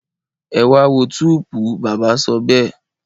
Ẹ wá a wo túùúpú! bàbá sọ bẹ́ẹ̀.